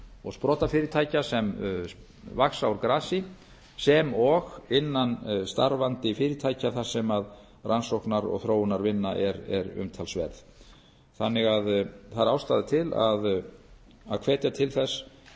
og sprotafyrirtækja sem vaxa úr grasi sem og innan starfandi fyrirtækja þar sem rannsóknar og þróunarvinna er umtalsverð það er því ástæða til að hvetja til